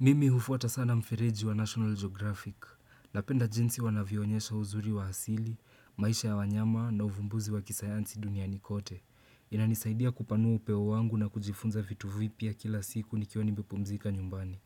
Mimi hufuata sana mfereji wa National Geographic. Napenda jinsi wanavyoonyesha uzuri wa asili, maisha ya wanyama na uvumbuzi wa kisayansi duniani kote. Inanisaidia kupanua upewo wangu na kujifunza vitu vipya kila siku nikiwa nimepumzika nyumbani.